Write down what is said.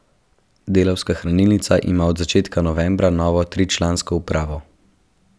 Delavska hranilnica ima od začetka novembra novo tričlansko upravo.